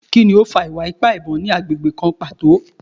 Kini o fa iwa-ipa ibon ni agbegbe kan pato?